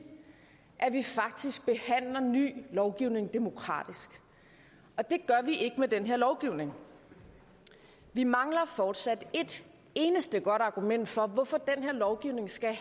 at vi faktisk behandler ny lovgivning demokratisk og det gør vi ikke med den her lovgivning vi mangler fortsat et eneste godt argument for hvorfor den her lovgivning skal